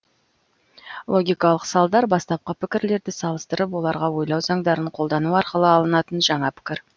логикалық салдар бастапқы пікірлерді салыстырып оларға ойлау заңдарын қолдану арқылы алынатын жаңа пікір